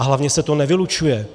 A hlavně se to nevylučuje.